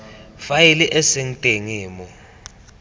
faele e seng teng mo